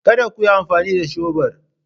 Kada ku yi amfani da shebur